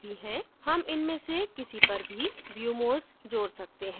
हम इनमें से किसी पर भी view modes जोड सकते हैं